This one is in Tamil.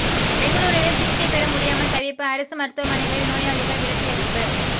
பெங்களூருவில் சிகிச்சை பெற முடியாமல் தவிப்பு அரசு மருத்துவமனைகளில் நோயாளிகள் விரட்டியடிப்பு